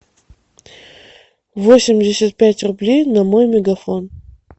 восемьдесят пять рублей на мой мегафон